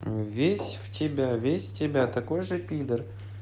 весь в тебя весь в тебя такой же пидр